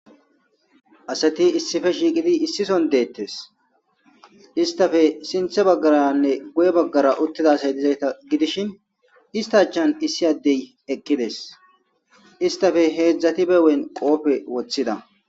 asati issife shiiqidi issison deettes istafe sinthe baggaranne guye baggara uttida asay dizayta gidishin iista achan issi addey eqqides istafe heedzdzati bewen qoofe woththida